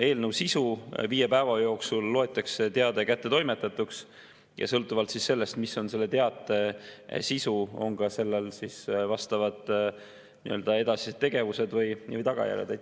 Eelnõu sisu on, et viie päeva jooksul loetakse teade kättetoimetatuks ja sõltuvalt sellest, mis on selle teate sisu, on sellel vastavad edasised tegevused või tagajärjed.